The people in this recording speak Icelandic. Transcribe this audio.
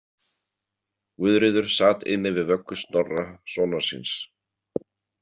Guðríður sat inni við vöggu Snorra sonar síns.